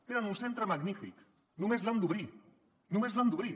tenen un centre magnífic només l’han d’obrir no·més l’han d’obrir